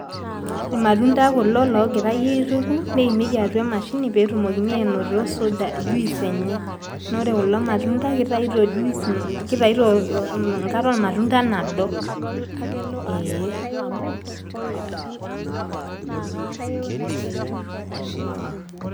Irmatunda kulo loorgirai aituku neimieki atua emashini pee etumokini ainoto juice enye naa ore kulo matunda kitayuto juice, enkare ormatunda nado ee.